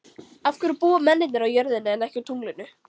Af hverju búa mennirnir á jörðinni en ekki á tunglinu?